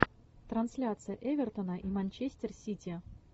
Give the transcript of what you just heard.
трансляция эвертона и манчестер сити